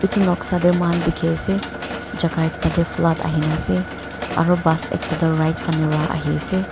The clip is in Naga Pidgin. edu noksa tae mohan dikhiase jaka ekta tae flood ahina ase aro bus ekta toh right fanae pa ahiase.